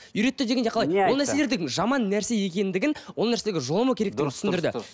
үйретті дегенде қалай ол нәрселердің жаман нәрсе екендігін ол нәрсеге жоламау керектігін түсіндірді дұрыс дұрыс дұрыс